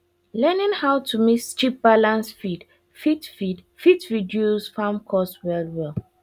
learning how to mix cheap balanced feed fit feed fit reduce farm cost wellwell